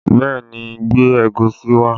Bẹẹ ni, gbé ẹ̀gúsí wá